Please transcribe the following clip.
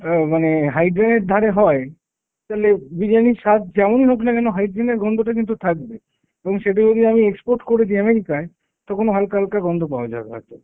অ্যাঁ মানে high drain এর ধারে হয়, তালে বিরিয়ানির স্বাদ যেমনই হোক না কেন high drain এর গন্ধটা কিন্তু থাকবেই। এবং সেটা যদি আমি export করে দিই America য়, তখনও হালকা হালকা গন্ধ পাওয়া যাবে হয়তো।